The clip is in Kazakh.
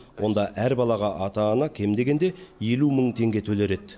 онда әр балаға ата ана кем дегенде елу мың теңге төлер еді